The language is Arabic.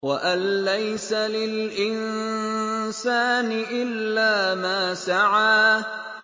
وَأَن لَّيْسَ لِلْإِنسَانِ إِلَّا مَا سَعَىٰ